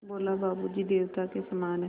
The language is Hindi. बोला बाबू जी देवता के समान हैं